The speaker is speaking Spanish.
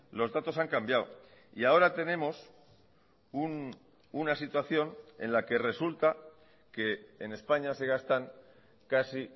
los datos han cambiado y ahora tenemos una situación en la que resulta que en españa se gastan casi